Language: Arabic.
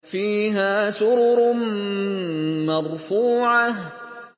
فِيهَا سُرُرٌ مَّرْفُوعَةٌ